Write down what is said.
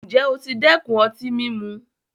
Ǹjẹ́ o ti dẹ́kun ọtí mímu?